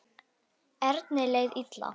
Erni leið illa.